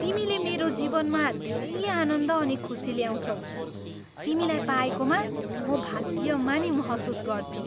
तिमीले मेरो जीवनमा धेरै आनन्द अनि खुसी ल्याउँछौ। तिमीलाई पाएकोमा म भाग्यमानी महसुस गर्छु।